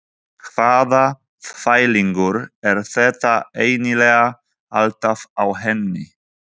Hvaða þvælingur er þetta eiginlega alltaf á henni?